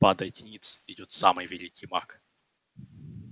падайте ниц идёт самый великий маг